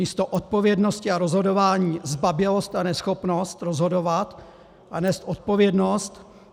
Místo odpovědnosti a rozhodování zbabělost a neschopnost rozhodovat a nést odpovědnost.